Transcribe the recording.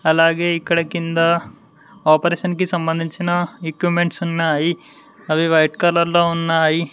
అలాగే ఇక్కడ కింద ఆపరేషన్ కి సంబంధించిన ఎక్విప్మెంట్స్ ఉన్నాయి అవి వైట్ కలర్ లో ఉన్నాయి.